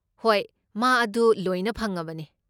ꯍꯣꯏ, ꯃꯥ ꯑꯗꯨ ꯂꯣꯏꯅ ꯐꯪꯉꯕꯅꯦ꯫